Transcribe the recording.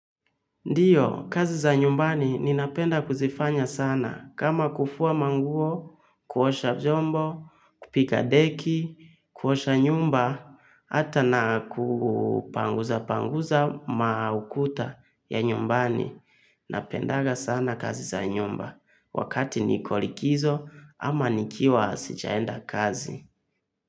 Ndiyo, kazi za nyumbani ninapenda kuzifanya sana kama kufua manguo, kuosha vyombo, kupiga deki, kuosha nyumba, hata na kupanguzapanguza maukuta ya nyumbani. Napendanga sana kazi za nyumba wakati niko likizo ama nikiwa sijaenda kazi.